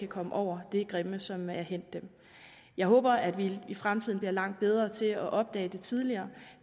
komme over det grimme som er hændt dem jeg håber at vi i fremtiden bliver langt bedre til at opdage det tidligere